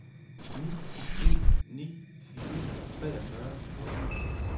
ni en ni fire treogfyrre et hundrede og seks